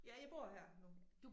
Ja jeg bor her nu